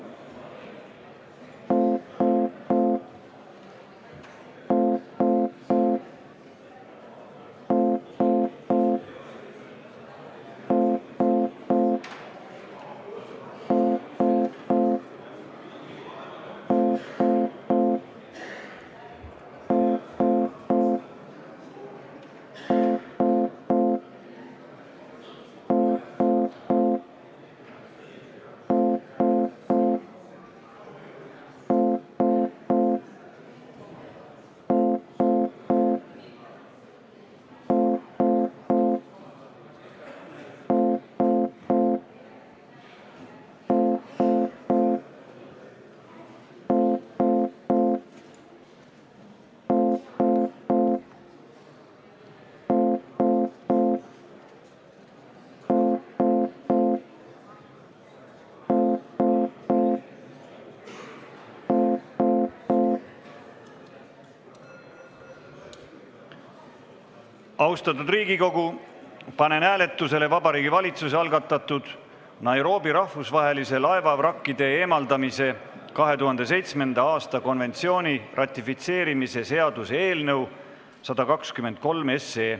Austatud Riigikogu, panen hääletusele Vabariigi Valitsuse algatatud Nairobi rahvusvahelise laevavrakkide eemaldamise 2007. aasta konventsiooni ratifitseerimise seaduse eelnõu 123.